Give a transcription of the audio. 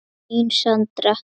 Þín, Sandra.